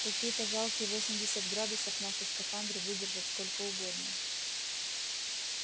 какие-то жалкие восемьдесят градусов наши скафандры выдержат сколько угодно